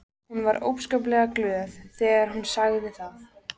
Hún var óskaplega glöð þegar hún sagði það.